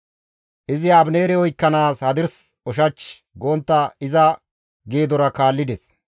Izi Abineere oykkanaas hadirs ushach gontta iza geedora kaallides.